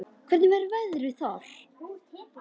En hvernig verður veðrið þar?